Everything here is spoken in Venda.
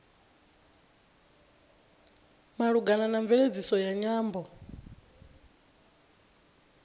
malugana na mveledziso ya nyambo